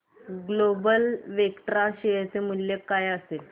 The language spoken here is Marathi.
ग्लोबल वेक्ट्रा शेअर चे मूल्य काय असेल